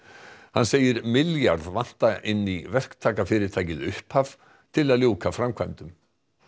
hann segir milljarð vanta inn í verktakafyrirtækið upphaf til að ljúka framkvæmdum